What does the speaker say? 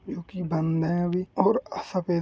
यूकी बंद है अभी और आ सफेद --